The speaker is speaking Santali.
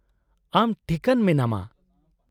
-ᱟᱢ ᱴᱷᱤᱠᱟᱹᱱ ᱢᱮᱱᱟᱢᱟ ?